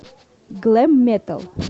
глэм метал